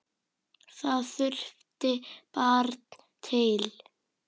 Það þurfti barn til.